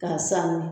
K'a sanuya